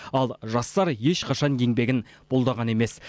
ал жастар ешқашан еңбегін бұлдаған емес